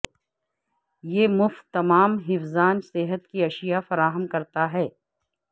یہ مفت تمام حفظان صحت کی اشیاء فراہم کرتا ہے